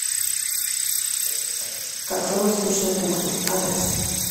кафе восточной кухни адрес